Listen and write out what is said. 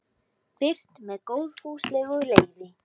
Birt með góðfúslegu leyfi.